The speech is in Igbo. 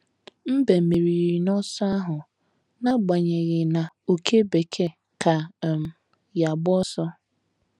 Mbe meriri n’ọsọ ahụ, n’agbanyeghị na òké bekee ka um ya agba ọsọ.